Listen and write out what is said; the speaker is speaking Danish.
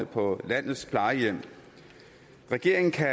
på landets plejehjem regeringen kan